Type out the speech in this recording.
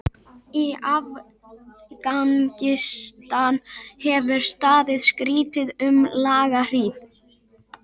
Í Afganistan hefur staðið stríð um langa hríð.